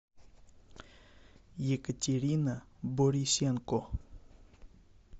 екатерина борисенко